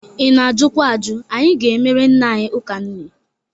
Ị na-ajukwa aju. Anyị ga-emere nne anyị ụka nne.